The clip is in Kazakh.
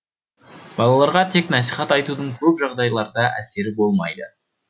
балаларға тек насихат айтудың көп жағдайларда әсері болмайды